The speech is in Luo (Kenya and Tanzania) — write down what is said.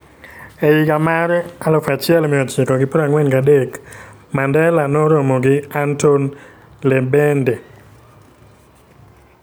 E higa mar 1943, Mandela noromo gi Anton Lembede,